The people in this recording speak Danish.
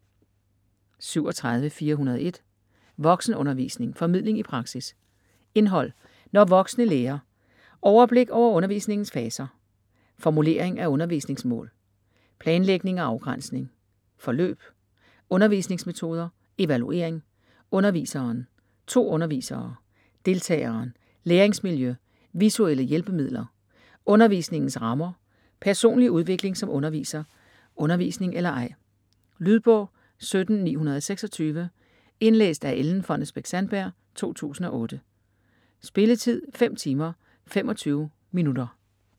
37.401 Voksenundervisning: formidling i praksis Indhold: Når voksne lærer; Overblik over undervisningens faser; Formulering af undervisningmål; Planlægning og afgrænsning; Forløb; Undervisningsmetoder; Evaluering; Underviseren; To undervisere; Deltageren; Læringsmiljø; Visuelle hjælpemidler; Undervisningens rammer; Personlig udvikling som underviser; Undervisning eller ej? Lydbog 17926 Indlæst af Ellen Fonnesbech-Sandberg, 2008. Spilletid: 5 timer, 25 minutter.